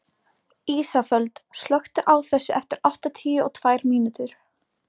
Ísafold, slökktu á þessu eftir áttatíu og tvær mínútur.